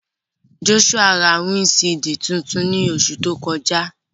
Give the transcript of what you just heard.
Joshua ra windṣiidi tuntun ni oṣu to kọja.